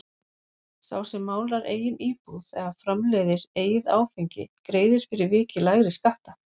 Sá sem málar eigin íbúð eða framleiðir eigið áfengi greiðir fyrir vikið lægri skatta.